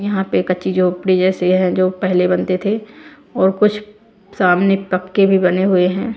यहां पे कच्ची झोपड़ी जैसी है जो पहले बनते थे और कुछ सामने पक्के भी बने हुए हैं।